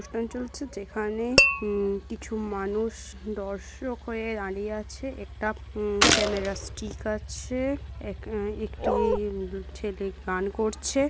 অনুষ্ঠান চলছে যেখানে কিছু মানুষ দর্শক হয়ে দাঁড়িয়ে আছে একটা ক্যামেরা স্টিক আছে এক-একটি ছেলে গান করছে।